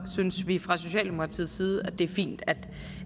synes vi fra socialdemokratiets side at det er fint at